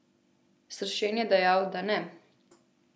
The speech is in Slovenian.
Sršen je dejal, da ne.